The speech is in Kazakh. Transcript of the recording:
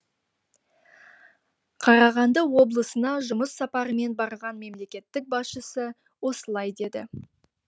қарағанды облысына жұмыс сапарымен барған мемлекет басшысы осылай деді